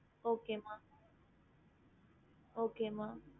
ஹம்